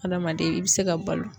Hadamaden i bɛ se ka balo.